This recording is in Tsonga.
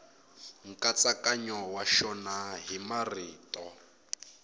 nkatsakanyo wa xona hi marito